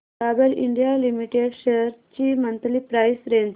Dabur India limited shares ची monthly price range